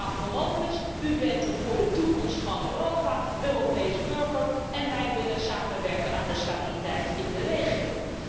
Meneer Avramopoulos, u bent er voor de toekomst van Europa en van de Europese burgers, en wij willen samenwerken aan de stabiliteit in de regio.